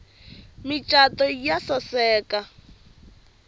micato ya tsakisa